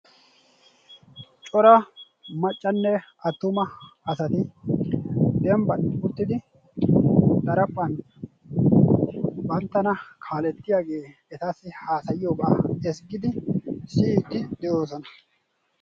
coraa maccanne attumma asati dembban uttidi daraphan banttana kaaleetiyaageeti etassi haassayiyoogega ezggiidi de'oosnona.